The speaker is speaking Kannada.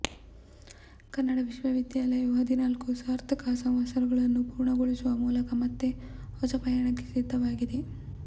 ಕನ್ನಡ ವಿಶ್ವವಿದ್ಯಾಲಯವು ಹದಿನಾಲ್ಕು ಸಾರ್ಥಕ ಸಂವತ್ಸರಗಳನ್ನು ಪೂರ್ಣ ಗೊಳಿಸುವ ಮೂಲಕ ಮತ್ತೆ ಹೊಸ ಪಯಣಕ್ಕೆ ಸಿದ್ಧವಾಗಿದೆ